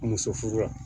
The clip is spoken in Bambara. Muso furu la